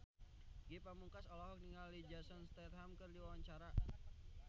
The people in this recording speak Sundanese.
Ge Pamungkas olohok ningali Jason Statham keur diwawancara